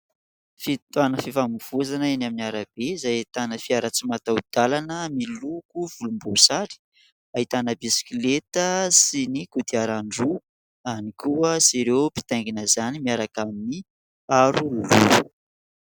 Fitoanany fifamoivoizana eny amin'ny arabe izay ahitana fiara tsy mataho-dalana, miloko volomboasary, ahitana bisikileta sy ny kodiaran-droa ihany koa sy ireo mpitaingina izany miaraka amin'ny aro loha.